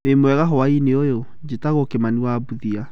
Wĩ mwega hwainĩ ũyũ? Njĩtagwo Kimani wa Mbuthia.